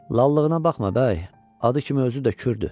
"Lallığına baxma bəy, adı kimi özü də kürdür."